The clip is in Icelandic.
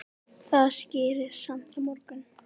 Það skýrist samt á morgun.